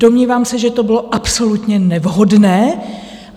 Domnívám se, že to bylo absolutně nevhodné.